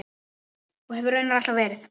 Og hefur raunar alltaf verið.